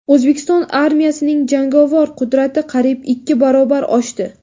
O‘zbekiston armiyasining jangovar qudrati qariyb ikki barobar oshdi.